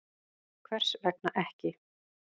Hvers vegna ekki?